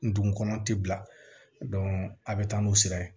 Ndugun ti bila a bɛ taa n'u sira ye